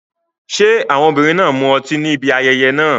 Ṣé àwọn obìnrin náà mu ọtí níbi ayẹyẹ náà?